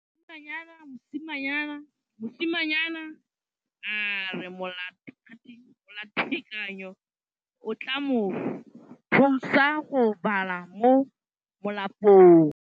Mosimane a re molatekanyô o tla mo thusa go bala mo molapalong.